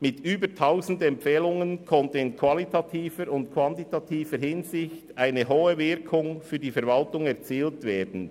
Mit über tausend Empfehlungen konnte in qualitativer und quantitativer Hinsicht eine hohe Wirkung für die Verwaltung erzielt werden.